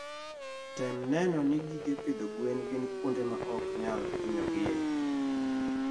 Tem neno ni gige pidho gwen gin kuonde ma ok nyal hinyo gie.